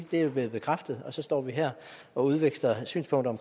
det er blevet bekræftet og så står vi her og udveksler synspunkter